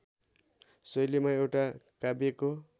शैलीमा एउटा काव्यको